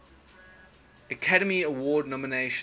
academy award nomination